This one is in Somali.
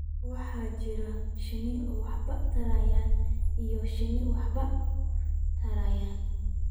waxaa jira shinni aan waxba tarayn iyo shinni aan waxba tarayn